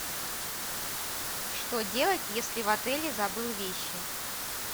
что делать если в отеле забыл вещи